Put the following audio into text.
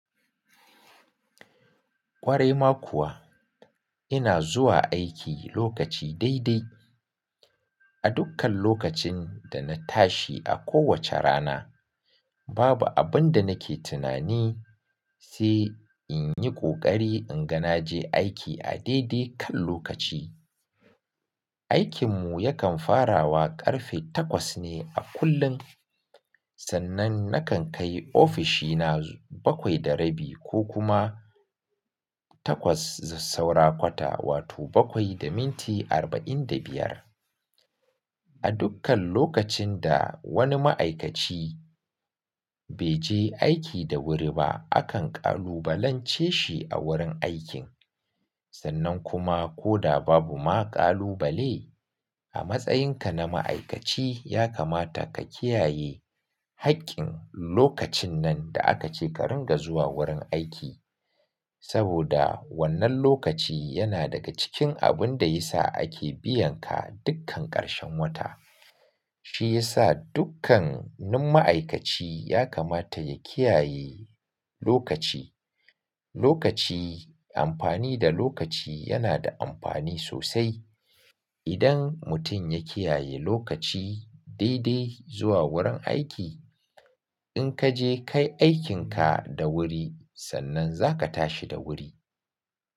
Kwarai ma kuwa ina zuwa aiki lokaci dai-dai. A dukkan lokacin da na tashi a kowace rana, babu abin da nake tunani sai in yi ƙoƙari in ga na je aiki a dai-dai kan lokaci. Aikinmu yakan farawa ƙarfe takwas ne a kullum, sannan nakan kai ofishina bakwai da rabi ko kuma takwas saura kwata, wato bakwai da minti arba'in da biyar. A dukkan lokacin da wani ma'aikaci bai je aiki da wuri ba, akan ƙalubalance shi a wurin aikin. Sannan kuma ko da babu ma ƙalubale, a matsayinka na ma'aikaci ya kamata ka kiyaye haƙƙin lokacin nan da aka ce ka ringa zuwa wurin aiki. Saboda wannan lokaci yana daga cikin abin da ya sa ake biyan ka dukkan ƙarshen wata. Shi ya sa dukkanin ma'aikaci ya kamata ya kiyaye lokaci. Lokaci, amfani da lokaci yana da amfani sosai. Idan mutum ya kiyaye lokaci dai-dai zuwa wurin aiki, in ka je kai aikinka da wuri sannan za ka tashi da wuri.